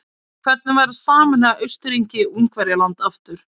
Hvernig væri að sameina Austurríki-Ungverjaland aftur?